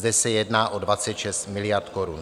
Zde se jedná o 26 miliard korun.